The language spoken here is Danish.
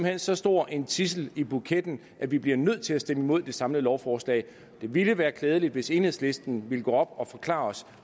hen så stor en tidsel i buketten at vi bliver nødt til at stemme imod det samlede lovforslag det ville være klædeligt hvis enhedslisten ville gå op og forklare os